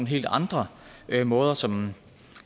helt andre måder som